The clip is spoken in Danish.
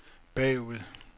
bagud